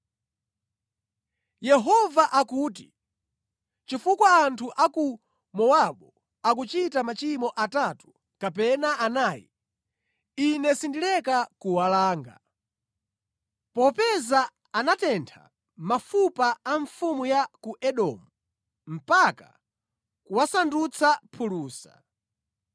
Yehova akuti, “Chifukwa anthu a ku Mowabu akunka nachimwirachimwira, Ine sindileka kuwalanga. Popeza anatentha mafupa a mfumu ya ku Edomu, mpaka kuwasandutsa phulusa,